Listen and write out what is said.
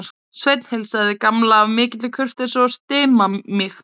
Sveinn heilsaði Gamla af mikilli kurteisi og stimamýkt.